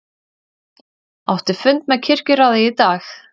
Átti fund með kirkjuráði í dag